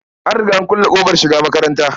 An riga an kulle ƙofar shiga makatanta.